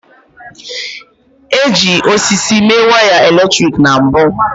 E ji osisi mee wiaya eletrik na mbu